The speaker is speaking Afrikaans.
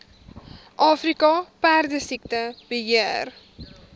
afrika perdesiekte beheer